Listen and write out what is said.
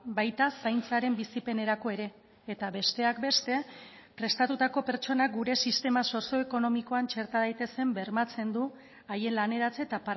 baita zaintzaren bizipenerako ere eta besteak beste prestatutako pertsonak gure sistema sozioekonomikoan txerta daitezen bermatzen du haien laneratze eta